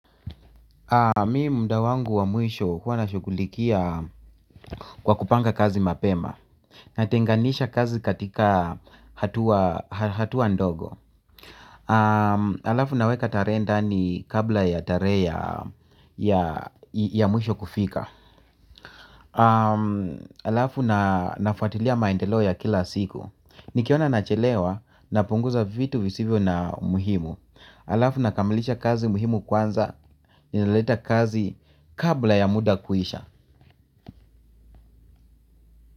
Mimi muda wangu wa mwisho huwa nashughulikia kwa kupanga kazi mapema natenganisha kazi katika hatua ndogo. Halafu naweka tarehe ndani kabla ya tarehe ya mwisho kufika halafu nafuatilia maendelo ya kila siku. Nikiona nachelewa napunguza vitu visivyo na umuhimu. Halafu nakamilisha kazi muhimu kwanza. Naleta kazi kabla ya muda kuisha.